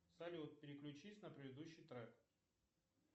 салют переключись на предыдущий трек